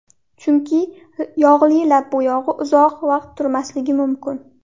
Chunki yog‘li lab bo‘yog‘i uzoq vaqt turmasligi mumkin.